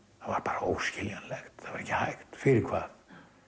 það var óskiljanlegt það var ekki hægt fyrir hvað